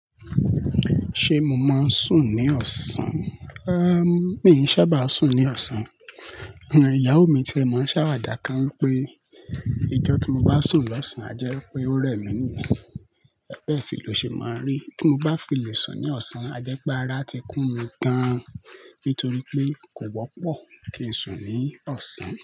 Ṣé mo máa ń sùn ní ọ̀sán? Éé mi ò sábà sùn ní ọ̀sán. Ìyàwó mi ti ẹ̀ máa ń ṣàwàdà kan wípé ijọ́ tí mo bá sùn lọ́sàn-án jẹ́ pé ó rẹ̀ mí nù. Bẹ́ẹ̀ sì ló ṣe máa ń rí tí mo bá fi lè sùn ní ọ̀sán, a jẹ́ pé ara ti kún mi gan-an nítorí pé kò wọ́pọ̀ kí ń sùn ní ọ̀sán.